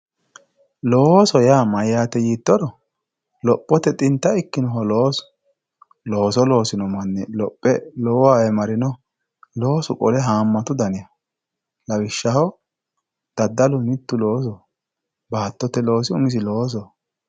looso yaa mayaate tiittoro lophote xinta ikkinoho loosu looso losino manni lophe lowowa marino loosu qole haamatu daniho lawishshaho daddalu mittu loosoho baatote loosi umisi loosoho.